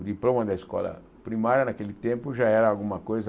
O diploma da escola primária naquele tempo já era alguma coisa...